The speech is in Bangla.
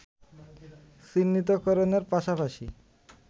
চিহ্নিতকরণের পাশাপাশি